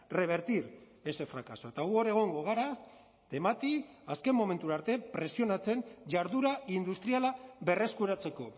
revertir ese fracaso eta gu hor egongo gara temati azken momentura arte presionatzen jarduera industriala berreskuratzeko